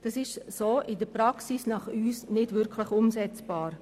Dies ist unserer Meinung nach nicht umsetzbar.